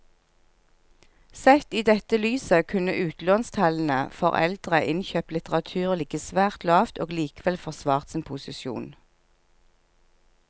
Sett i dette lyset kunne utlånstallene for eldre innkjøpt litteratur ligget svært lavt og likevel forsvart sin posisjon.